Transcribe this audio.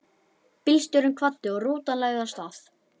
Bílstjórinn kvaddi og rútan lagði af stað.